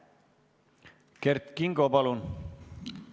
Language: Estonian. Kert Kingo, palun!